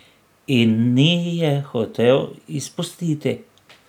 In ni je hotel izpustiti.